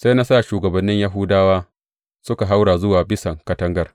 Sai na sa shugabannin Yahuda suka haura zuwa bisan katangar.